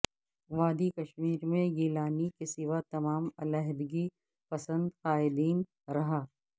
وادی کشمیر میں گیلانی کے سوا تمام علیحدگی پسند قائدین رہا